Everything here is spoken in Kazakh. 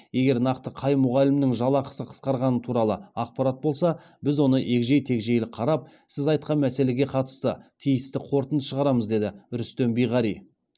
егер нақты қай мұғалімнің жалақысы қысқарғаны туралы ақпарат болса біз оны егжей тегжейлі қарап сіз айтқан мәселеге қатысты тиісті қорытынды шығарамыз деді рүстем биғари